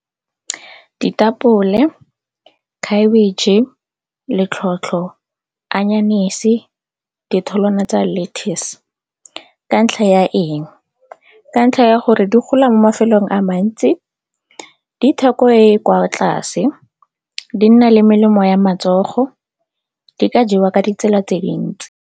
Ditapole, khabetšhe, letlhotlho, anyanese, ditholwana tsa lettuce ka ntlha ya eng? Ka ntlha ya gore di gola mo mafelong a mantsi, ditheko e e kwa tlase, di nna le melemo ya matsogo, di ka jewa ka ditsela tse dintsi.